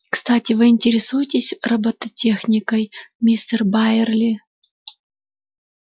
кстати вы интересуетесь роботехникой мистер байерли